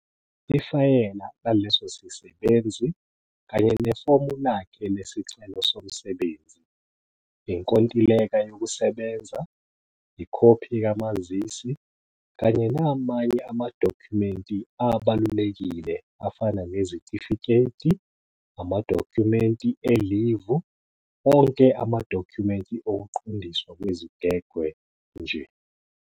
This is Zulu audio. Ifayela laleso sisebenzi kanye nefomu lakhe lesicelo somsebenzi, inkontileka yokusebenza, ikhophi kamazisi, kanye namanye amadokhumenti abalulekile afana nezitifiketi, amadokhumenti elivu, onke amadokhumenti okuqondiswa kwezigwegwe, njll.